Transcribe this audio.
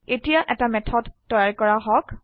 এতিয়া এটা মেথড তৈয়াৰ কৰা হক